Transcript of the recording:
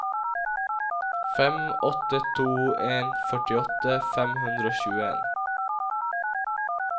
fem åtte to en førtiåtte fem hundre og tjueen